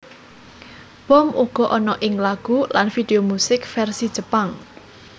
Bom uga ana ing lagu lan video musik vèrsi Jepang